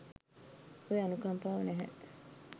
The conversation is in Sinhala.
ඔය අනුකම්පාව නැහැ.